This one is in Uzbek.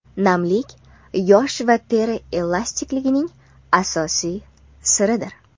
Namlik yosh va teri elastikligining asosiy siridir.